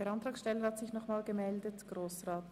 Der Antragsteller hat noch einmal das Wort.